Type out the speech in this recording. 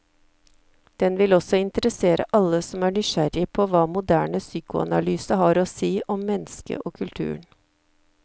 Den vil også interessere alle som er nysgjerrig på hva moderne psykoanalyse har å si om mennesket og kulturen.